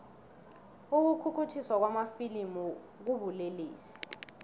ukukhukhuthiswa kwamafilimu kubulelesi